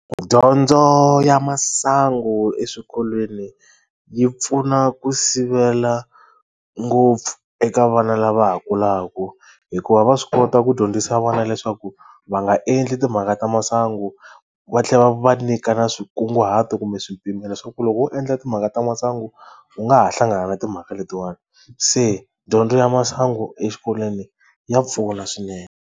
Dyondzo ya masangu eswikolweni yi pfuna ku sivela ngopfu eka vana lava ha kulaka hikuva va swi kota ku dyondzisa vana leswaku va nga endli timhaka ta masangu va tlhela va nyika na swikunguhato kumbe swipimelo swa ku loko wo endla timhaka ta masangu u nga ha hlangana timhaka letiwani se dyondzo ya masangu eswikolweni ya pfuna swinene.